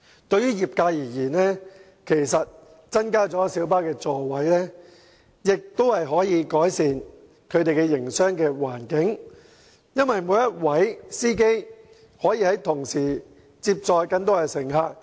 對於業界而言，其實增加小巴座位的同時亦可改善其營商環境，因為每一位司機將可接載更多乘客。